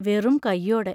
വെറും കൈയോടെ!!